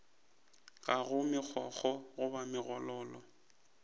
ga go megokgo goba megololo